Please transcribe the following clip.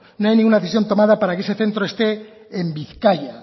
no hay ninguna decisión tomada para que ese centro esté en bizkaia